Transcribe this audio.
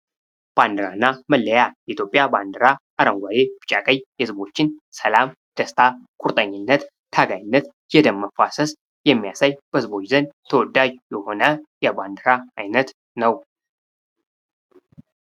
ባንዲራና መለያ የኢትዮጵያ ባንዲራ አረንጓዴ ቢጫ ቀይ ህዝቦችን ሰላም፣ ደስታ ፣ቁርጠኝነት ፣ታጋይነት፣ የደም መፋሰስ የሚያሳይ በህዝቦች ዘንድ ተወዳጅ የሆነ የባንዲራ ዓይነት ነው ::